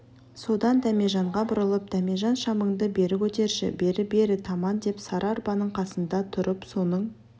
содан дәмежанға бұрылып дәмежан шамыңды бері көтерші бері бері таман деп сары арбаның қасында тұрып соның